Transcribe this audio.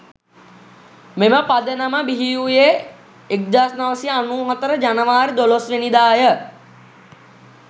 මෙම පදනම බිහිවූයේ 1994 ජනවාරි 12 වැනිදා ය.